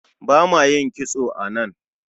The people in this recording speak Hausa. bama yin kitso a nan